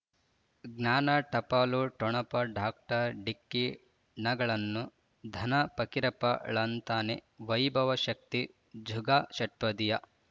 ಜ್ಞಾನ ಟಪಾಲು ಠೊಣಪ ಡಾಕ್ಟರ್ ಢಿಕ್ಕಿ ಣಗಳನು ಧನ ಫಕೀರಪ್ಪ ಳಂತಾನೆ ವೈಭವ್ ಶಕ್ತಿ ಝಗಾ ಷಟ್ಪದಿಯ